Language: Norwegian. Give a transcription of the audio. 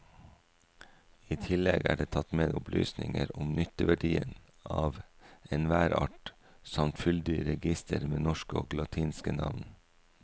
I tillegg er det tatt med opplysninger om nytteverdien av enhver art samt fyldig reigister med norske og latinske navn.